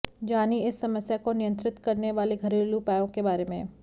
जानिए इस समस्या को नियंत्रित करने वाले घरेलू उपायों के बारे में